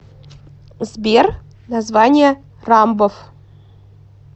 сбер название рамбов